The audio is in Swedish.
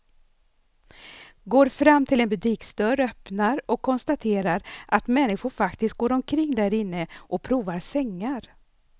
Går fram till en butiksdörr, öppnar och konstaterar att människor faktiskt går omkring därinne och provar sängar.